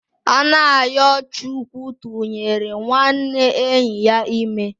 Anayochukwu tụnyere nwanne enyi ya ime